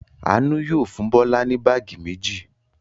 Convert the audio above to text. Àánú yóò fún Bọ́lá ní báágì méjì.